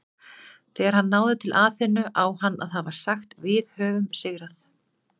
Þegar hann náði til Aþenu á hann að hafa sagt Við höfum sigrað!